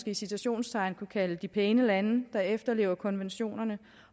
i citationstegn kunne kalde de pæne lande der efterlever konventionerne